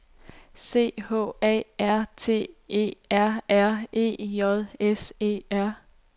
C H A R T E R R E J S E R